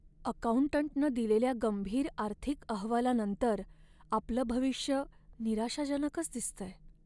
अकाऊंटंटनं दिलेल्या गंभीर आर्थिक अहवालानंतर आपलं भविष्य निराशाजनकच दिसतंय.